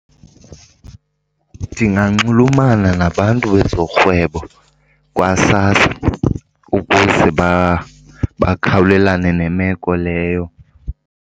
Ndinganxulumana nabantu bezorhwebo kwaSASSA ukuze bakhawulelane nemeko leyo.